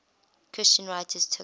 christian writers took